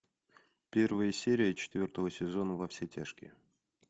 первая серия четвертого сезона во все тяжкие